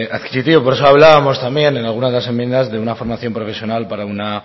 adquisitivo por eso hablábamos también en alguna de las enmiendas de una formación profesional para una